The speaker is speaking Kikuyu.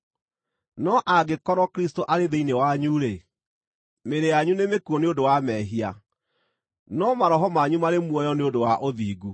No angĩkorwo Kristũ arĩ thĩinĩ wanyu-rĩ, mĩĩrĩ yanyu nĩmĩkuũ nĩ ũndũ wa mehia, no maroho manyu marĩ muoyo nĩ ũndũ wa ũthingu.